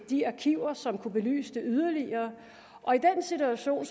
de arkiver som kunne belyse det yderligere og i den situation